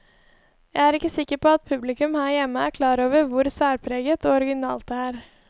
Jeg er ikke sikker på at publikum her hjemme er klar over hvor særpreget og originalt det er.